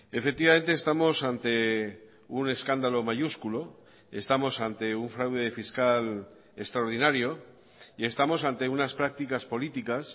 efectivamente estamos ante un escándalo mayúsculo estamos ante un fraude fiscal extraordinario y estamos ante unas prácticas políticas